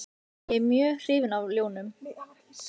Ég er mjög hrifinn af ljónum.